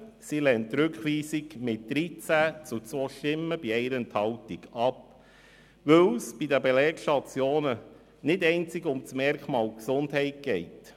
Sie lehnt die Rückweisung mit 13 zu 2 Stimmen bei 1 Enthaltung ab, weil es bei den Belegstationen nicht einzig um das Merkmal Gesundheit geht.